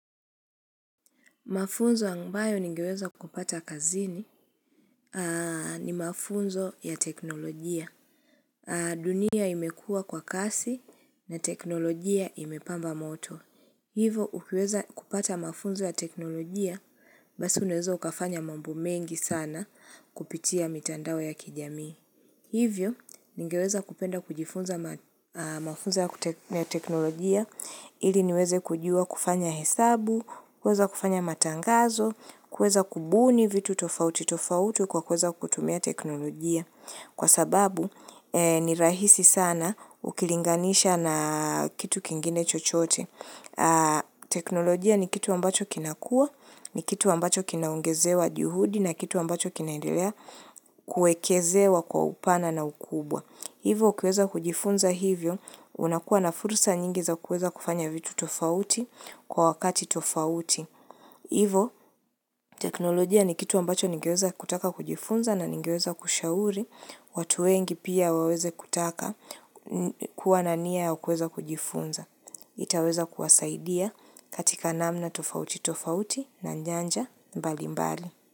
Mafunzo ambayo ningeweza kupata kazini ni mafunzo ya teknolojia. Dunia imekuwa kwa kasi na teknolojia imepamba moto. Hivo, ukiweza kupata mafunzo ya teknolojia, basi unaweza ukafanya mambo mengi sana kupitia mitandao ya kijami. Hivyo, ningeweza kupenda kujifunza mafunzo ya teknolojia ili niweze kujua kufanya hesabu, kuweza kufanya matangazo, kuweza kubuni vitu tofauti tofauti kwa kuweza kutumia teknolojia Kwa sababu ni rahisi sana ukilinganisha na kitu kingine chochote teknolojia ni kitu ambacho kinakua, ni kitu ambacho kinaongezewa juhudi na kitu ambacho kinaendelea kuekezewa kwa upana na ukubwa Hivo ukiweza kujifunza hivyo unakuwa na fursa nyingi za kuweza kufanya vitu tofauti kwa wakati tofauti Hivo, teknolojia ni kitu ambacho ningeweza kutaka kujifunza na ningeweza kushauri, watu wengi pia waweze kutaka kuwa na nia ya kuweza kujifunza. Itaweza kuwasaidia katika namna tofauti tofauti na nyanja mbali mbali.